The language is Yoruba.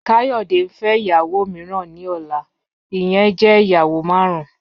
Kayode n fẹ iyawo miiran ni ọla, iyẹn jẹ iyawo marun.